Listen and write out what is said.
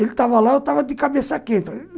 Ele estava lá, eu estava de cabeça quenta.